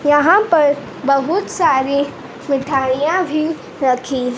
यहां पर बहुत सारे मिठाइयां भी रखी--